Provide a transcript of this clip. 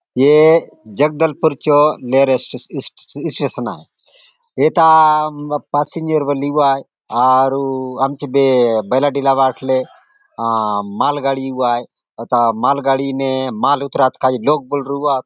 ऐ जगदलपुर चो railway station स्टे station आय एथा प पासींजर बले एउआत आरू आमचो बे बैलाडिला बाटले आ मालगाड़ी एउआय एथा मालगाड़ी ने माल उतरातो काजे लोक बले रहुआत।